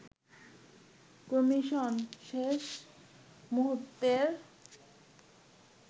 commission শেষ মুহুর্তের